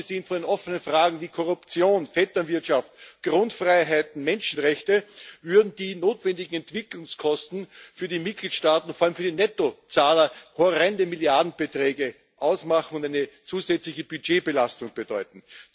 Abgesehen von den offenen Fragen wie Korruption, Vetternwirtschaft, Grundfreiheiten, Menschenrechte würden nämlich die notwendigen Entwicklungskosten für die Mitgliedstaaten und vor allem für die Nettozahler horrende Milliardenbeträge ausmachen und eine zusätzliche Budgetbelastung bedeuten.